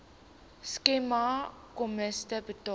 skema kommissie betaal